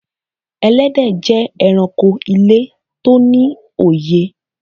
Ẹlẹ́dẹ̀ jẹ́ èránkò ilẹ̀ tó ní òyè.